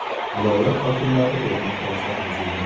Viloyat hokimlari o‘rnak olsa arziydi.